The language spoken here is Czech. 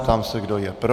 Ptám se, kdo je pro.